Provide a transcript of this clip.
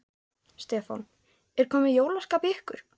Stefán: Er komið jólaskap í ykkur?